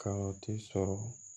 Ka o ti sɔrɔ